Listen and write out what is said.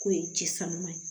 K'o ye jisuma ye